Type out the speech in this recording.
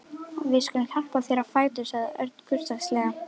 Við skulum hjálpa þér á fætur sagði Örn kurteislega.